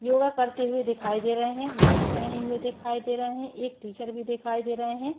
योगा करते हुए दिखाई दे रहे हैं मास्क पहने हुए दिखाई दे रहे हैं एक टीचर भी दिखाई दे रहे हैं।